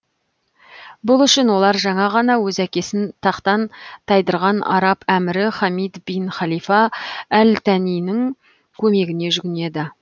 бұл үшін олар жаңа ғана өз әкесін тақтан тайдырған араб әмірі хамид бин халифа әл танинің көмегіне жүгінеді